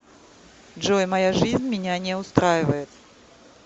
джой моя жизнь меня не устраивает